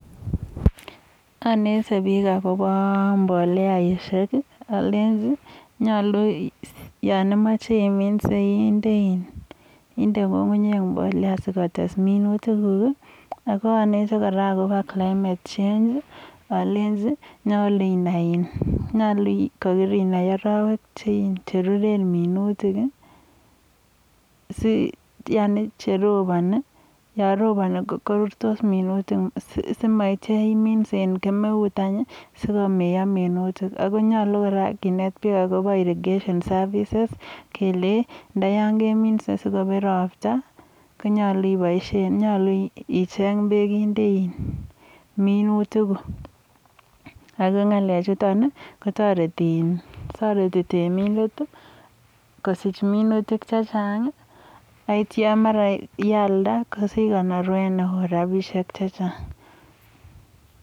Anete bik akobo mboleaishek, alenchi yon imache iminse inde ng'ung'unyek mbolea sikotes minutikuk. Akanete kora akobo climate change alenji nyolu inai arawek che ruren minutik si, yani cheropani. Yo roponi, korurtos minutik, simaityo iminse eng kemeut any sikomeiyo minutik. Ako nyolu kora kinet pik akobo irrigation services kele ndayon keminse sikobet ropta konyalu icheny bek inde minutikuk. Ako ng'alechutok ko toreti temindet kosich minutik chechang aityo mara yealda kosich konorwet neo. Rabishek che chang.